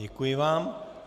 Děkuji vám.